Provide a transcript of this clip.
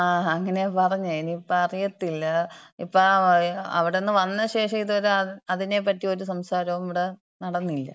ങ്ങാ അങ്ങനെയാ പറഞ്ഞെ. ഇനി ഇപ്പോ അറിയത്തില്ല. ഇപ്പൊ അവിടുന്ന് വന്ന ശേഷം ഇത് വരെ അതിനെപ്പറ്റി ഒരു സംസാരോം ഇവിട നടന്നില്ല.